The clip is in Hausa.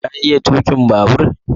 ka iya tukin babur?